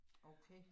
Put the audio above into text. Okay